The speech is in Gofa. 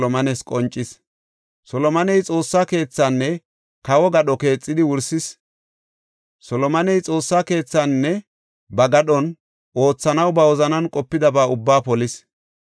Solomoney Xoossa keethaanne kawo gadho keexidi wursis. Solomoney Xoossa keethaninne ba gadhon oothanaw ba wozanan qopidaba ubbaa polis.